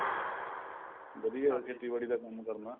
ਵਧੀਆ ਖੇਤੀਬਾੜੀ ਦਾ ਕੰਮ ਕਰਨਾ